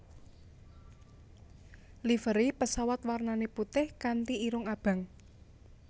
Livery pesawat warnane putih kanti irung abang